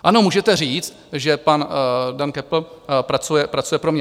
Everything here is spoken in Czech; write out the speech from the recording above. Ano, můžete říct, že pan Dan Köppl pracuje pro mě.